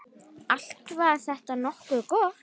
Allt var þetta nokkuð gott.